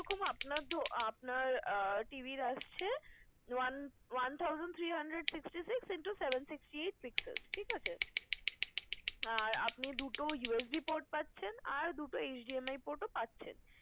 আপনার আপনার আহ TV র আসছে, one one thousand three hundred sixty-six into seven sixty-eight pixels ঠিক আছে? আর আপনি দুটো USB port পাচ্ছেন। আর দুটো HDMI port ও পাচ্ছেন।